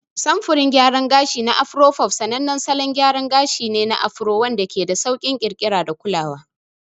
Samfurin gayaran gashi na Afro fof sanannen salon gyara gashi ne na Afro wanda ke da sauƙin ƙirƙira da kulawa.